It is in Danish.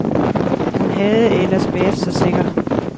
Hun havde ellers været så sikker.